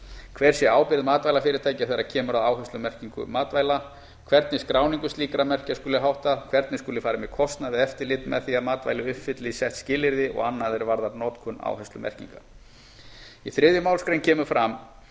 hver sé ábyrgð matvælafyrirtækja þegar kemur að áherslumerkingu matvæla hvernig skráningu slíkra merkja skuli háttað hvernig skuli farið með kostnað við eftirlit með því að matvæli uppfylli sett skilyrði og annað er varðar notkun áherslumerkinga í þriðju málsgrein kemur fram að